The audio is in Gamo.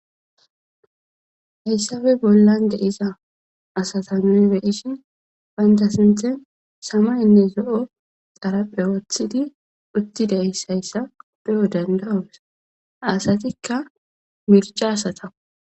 Haysappe bolla diza asati nu bei'shin banta sinta samaye nne zao'xaraphe wotidi beo dandaos asatika mirca asatakko